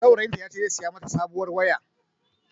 Saurayin ta ya ce zai saya ma ta sabuwar waya